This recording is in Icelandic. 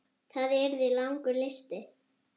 Það yrði langur listi.